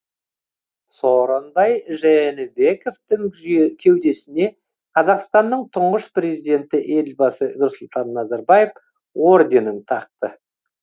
сооронбай жээнбековтің кеудесіне қазақстанның тұңғыш президенті елбасы нұрсұлтан назарбаев орденін тақты